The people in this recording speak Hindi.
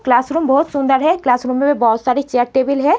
क्लासरूम बहोत सुंदर है। क्लासरूम में बहोत सारी चेयर टेबल हैं।